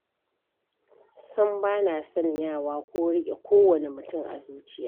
Sam bana sanyawa ko riƙe kowane mutum a zuciya ta.